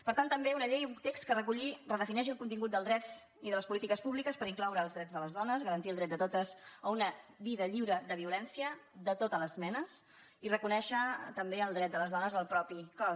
per tant també una llei un text que reculli redefinei·xi el contingut dels drets i de les polítiques públiques per incloure els drets de les dones garantir el dret de totes a una vida lliure de violència de totes les me·nes i reconèixer també el dret de les dones al propi cos